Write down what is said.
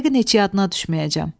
Yəqin heç yadına düşməyəcəm.